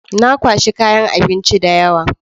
Na kwashi kayan abinci da yawa.